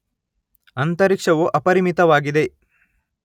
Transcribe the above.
ಅಂತರಿಕ್ಷವು ಅಪರಿಮಿತವಾಗಿದೆ